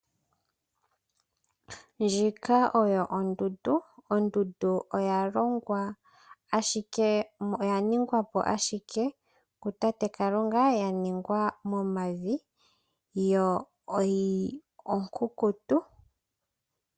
Ndjika oyo ondundu. Ondundu oya shitwa po ashike kutate Kalunga ya shitwa po momavi yo onkunkutu.